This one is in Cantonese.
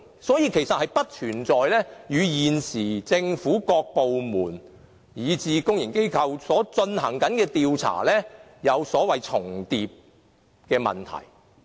所以，根本不存在立法會的調查與現時政府各部門，以至公營機構進行的調查，出現所謂重疊的問題。